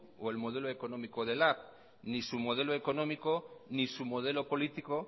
o el modelo económico de lab ni su modelo económico ni su modelo político